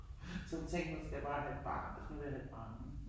Så tænkte hun nu skal jeg bare have et barn, nu vil jeg have et barn